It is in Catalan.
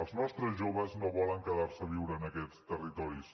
els nostres joves no volen quedar se a viure en aquests territoris